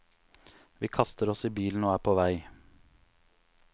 Vi kaster oss i bilen og er på vei.